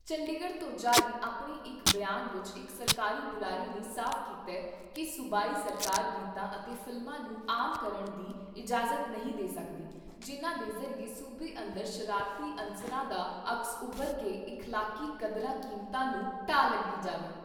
ਚੰਡੀਗੜ੍ਹ ਤੋਂ ਜਾਰੀ ਆਪਣੇ ਇਕ ਬਿਆਨ ਵਿਚ ਇਕ ਸਰਕਾਰੀ ਬਾਰੇ ਨੇ ਸਾਫ ਕੀਤਾ ਕਿ ਸੂਬਾਈ ਸਰਕਾਰ ਗੀਤਾਂ ਅਤੇ ਫ਼ਿਲਮਾਂ ਨੂੰ ਆਮ ਕਰਨ ਦੀ ਇਜਾਜਤ ਨਹੀਂ ਦੇ ਸਕਦੀ, ਜਿਨ੍ਹਾਂ ਦੇ ਜ਼ਰੀਏ ਸੂਬੇ ਅੰਦਰ ਸ਼ਰਾਰਤੀ ਅੰਸਰਾਂ ਦਾ ਅਕਸ ਉੱਭਰ ਕੇ ਇਖਲਾਕੀ ਕਦੋਂਰਾਂ ਕੀਮਤਾਂ ਨੂੰ ਢਾਅ ਲਗਈ ਜਾਵੇ।